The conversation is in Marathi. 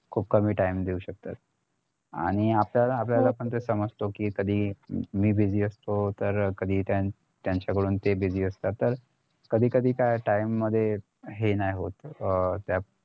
खूप कमी time देऊ शकतात आणि आपल्याला हवे असते ते आपण समजतो कि कधी मी busy तर कधी त्यानं त्यांच्या काढून ते busy असतात कधी कधी काय त्या time मध्ये हे नाय होत अं त्यात